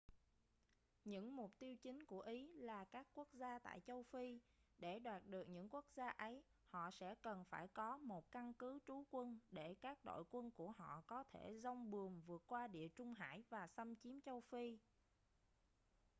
những mục tiêu chính của ý là các quốc gia tại châu phi để đoạt được những quốc gia ấy họ sẽ cần phải có một căn cứ trú quân để các đội quân của họ có thể giong buồm vượt qua địa trung hải và xâm chiếm châu phi